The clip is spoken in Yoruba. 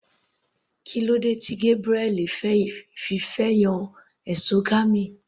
Kílódé tí Gabriel fi fẹ́ yan exogamy.